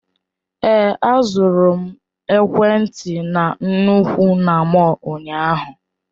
Èé, azụrụ m ekwentị na nnukwu na mọll ụnyaahụ.